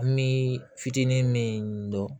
An bi fitinin min dɔn